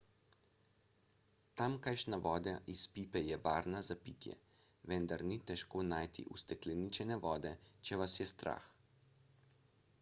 tamkajšnja voda iz pipe je varna za pitje vendar ni težko najti ustekleničene vode če vas je strah